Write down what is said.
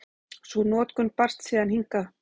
Sú notkun barst síðan hingað.